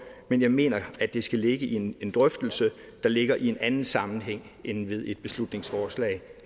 men jeg mener at det skal ligge i en drøftelse der ligger i en anden sammenhæng end ved et beslutningsforslag